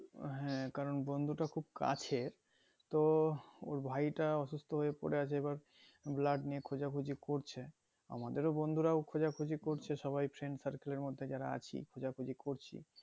হ্যাঁ কারণ বন্ধুটা খুব কাছের তো ওর ভাইটা অসুস্থ হয়ে পরে আছে এবার blood নিয়ে খোঁজ খুঁজি করছে আমাদের বন্ধুরাও খোঁজা খুঁজি করছে সবাই friend circle এর মধ্যে যারা আছি খোঁজা খুঁজি করছি